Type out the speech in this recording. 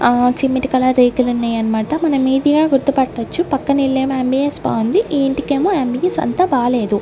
ఆ cement colour రేకులు ఉన్నాయన్నమాట మనం ఈజీగా గుర్తుపట్టొచ్చు పక్కన ఇల్లేమో యమ్_బి_యస్ బాగుంది ఈ ఇంటికేమో యమ్_బి_యస్ అంత బాలేదు.